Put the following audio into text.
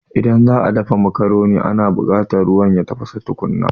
Idan za'a dafa macaroni ana buƙata ruwa ya tafasa tukuna